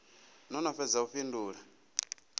no no fhedza u fhindula